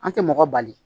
An tɛ mɔgɔ bali